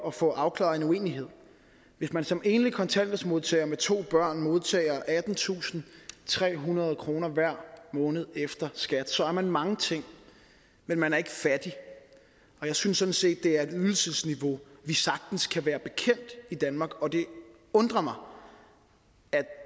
at få afklaret en uenighed hvis man som enlig kontanthjælpsmodtager med to børn modtager attentusinde og trehundrede kroner hver måned efter skat så er man mange ting men man er ikke fattig og jeg synes sådan set at det er et ydelsesniveau vi sagtens kan være bekendt i danmark og det undrer mig at